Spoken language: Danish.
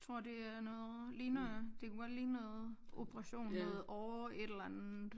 Tror det er noget ligner det kunne godt ligne noget operation noget åre et eller andet